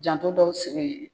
Janto dɔw sebe.